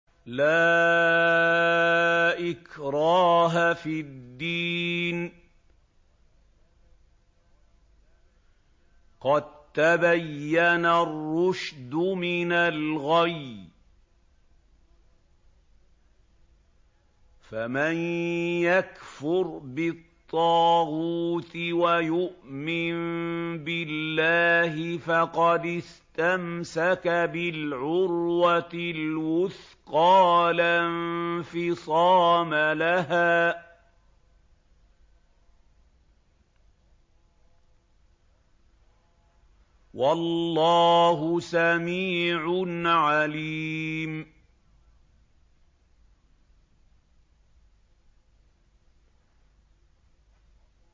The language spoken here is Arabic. لَا إِكْرَاهَ فِي الدِّينِ ۖ قَد تَّبَيَّنَ الرُّشْدُ مِنَ الْغَيِّ ۚ فَمَن يَكْفُرْ بِالطَّاغُوتِ وَيُؤْمِن بِاللَّهِ فَقَدِ اسْتَمْسَكَ بِالْعُرْوَةِ الْوُثْقَىٰ لَا انفِصَامَ لَهَا ۗ وَاللَّهُ سَمِيعٌ عَلِيمٌ